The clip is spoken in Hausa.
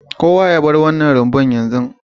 Kowa ya bar wannan rumbun zabe yanzu